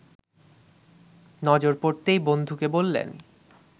নজর পড়তেই বন্ধুকে বললেন